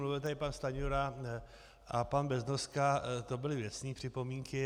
Mluvil tady pan Stanjura a pan Beznoska, to byly věcné připomínky.